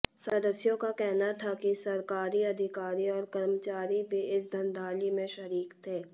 सदस्यों का कहना था कि सरकारी अधिकारी और कर्मचारी भी इस धांधली में शरीक थे